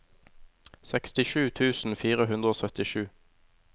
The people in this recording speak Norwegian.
sekstisju tusen fire hundre og syttisju